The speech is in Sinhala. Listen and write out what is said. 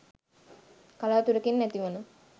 කලාතුරකින් ඇතිවන